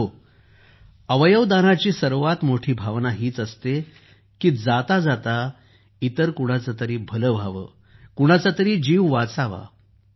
मित्रांनो अवयव दानाची सर्वात मोठी भावना हीच असते की जाता जात इतर कुणाचं तरी भलं व्हावं कुणाचा तरी जीव वाचावा